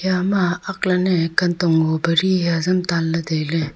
ama ak lan ney kantong ngo pa ri hia azam tan ley tai ley.